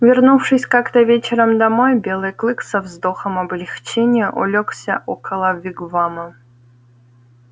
вернувшись как то вечером домой белый клык со вздохом облегчения улёгся около вигвама